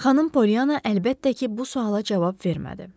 Xanım Polyana əlbəttə ki, bu suala cavab vermədi.